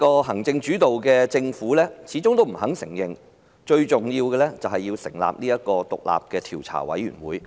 行政主導的政府始終不承認最重要的事情，就是要成立獨立調查委員會。